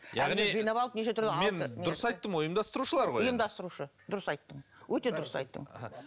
яғни жинап алып неше түрлі мен дұрыс айттым ғой ұйымдастырушылар ғой ұйымдастырушы дұрыс айттың өте дұрыс айттың